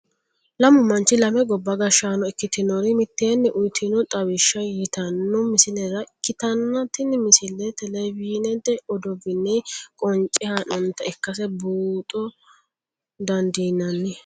lamu manchi lame gobba gashshaano ikkitinori mitteenni uyiitino xawishsha yitanno misilera ikkitanna tini misileno televizhinete odoowiinni qonce haa'noonita ikkase buuxa dandiinanni.